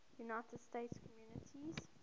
united states communities